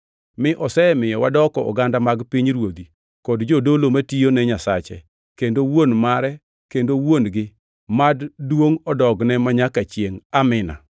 mi osemiyo wadoko oganda mag pinyruodhi kod jodolo matiyone Nyasache kendo Wuon mare kendo wuon-gi, mad duongʼ odogne manyaka chiengʼ! Amin.